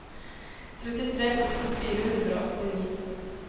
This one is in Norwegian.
trettitre tusen fire hundre og åttini